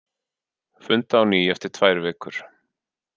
Funda á ný eftir tvær vikur